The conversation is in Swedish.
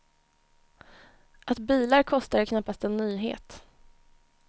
Att bilar kostar är knappast en nyhet.